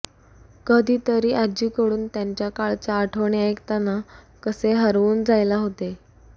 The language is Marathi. कधीतरी आजीकडून त्यांच्या काळच्या आठवणी ऐकताना कसे हरवून जायला होते